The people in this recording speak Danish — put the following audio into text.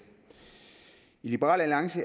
liberal alliances